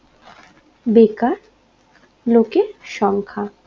বেকার লোকের সংখ্যা